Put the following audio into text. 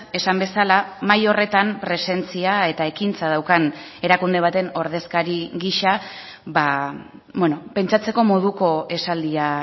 esan bezala mahai horretan presentzia eta ekintza daukan erakunde baten ordezkari gisa pentsatzeko moduko esaldia